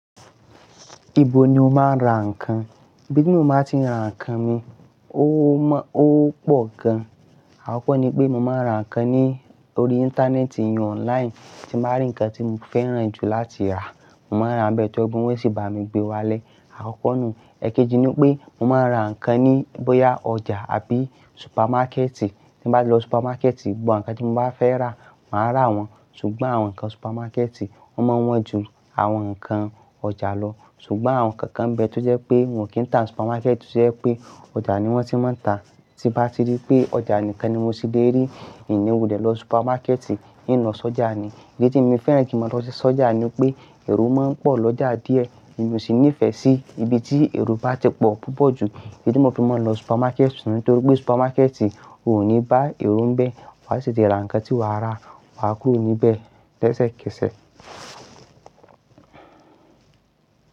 Ibo ni o máa ń ra ǹkan? Ibi tí mo máa ti ń ra ǹkan mi, ó mọ, ó pọ̀ gan. Àkọ́kọ́ ni pé mo máa ń ra ǹkan ní orí Íńtánẹ́ẹ̀tì eyun online, tí mo bá rí ǹkan tí mo fẹ́ràn jù láti rà, mo máa rà á bẹ́ẹ̀ tó jẹ́ pe wọ́n sì bá mi gbé wá lé. Àkọ́kọ́ nù. Ẹ̀kejì ni pé mo máa ń ra ǹkan ní bóyá ọjà àbí supermákẹ́tì. Tí mo bá lọ supermákẹ́tì, gbogbo ǹkan tí mo bá fẹ́ rà, màá rà wọ́n, ṣùgbọ́n àwọn ǹkan supermákẹ́tì wọ́n mọ́ wọn ju àwọn ǹkan ọjà lọ. Ṣùgbọ́n àwọn kankan bẹ́ẹ̀ tó jẹ́ pé wọn kì í ta supermákẹ́tì tojẹ̀ pé ọjà ni wọ́n ti máa ń tà. Tí bá ti rí pé ọjà nìkan ni mo ti lè rí, i ni wulẹ̀ lọ supermákẹ́tì, n lọ sọ́jà ni. In tí mii fẹ́ràn kí mo lọ sí sọ́jà ni pé èrò máa ń pọ̀ lọ́jà díẹ̀, èmi ò sì ní ìfẹ́ sí ibi tí èrò bá ti pọ̀ púpọ̀ jù. Idí ni mò fi máa ń lọ supermákẹ́tì nítorí pé supermákẹ́tì ò ní bá èrò ń bẹ́ẹ̀, wà á sì ti ra ǹkan tí wà á rà, wà á kúrò níbẹ̀ lẹ́sẹ̀kẹsẹ̀